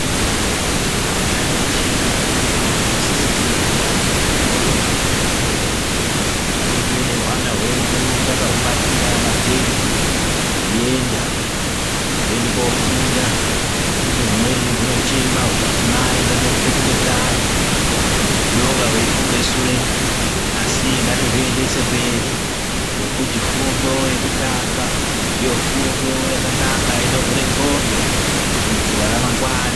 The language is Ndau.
Ana eshe adodori anosisirwe kuti aende kuchikora. Tirumbe nehwana hwedu takahubatira mabhegi hweienda. Hwoenda kofunda nokuti humweni hunochena huchiti mai ndode kupetuke kanyi hunonga hweifunge sure asi ngatihuendese mberi ngekuti fundo yekutanga ndiyo fundo yakanaka inovhure ndxondo kuitira ramangwani.